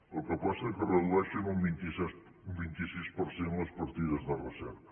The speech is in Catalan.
el que passa que redueixen un vint sis per cent les partides de recerca